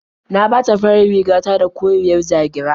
Na ɓata farar riga ta da koriyar ja-gira.